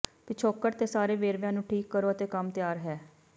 ਪਿਛੋਕੜ ਤੇ ਸਾਰੇ ਵੇਰਵਿਆਂ ਨੂੰ ਠੀਕ ਕਰੋ ਅਤੇ ਕੰਮ ਤਿਆਰ ਹੈ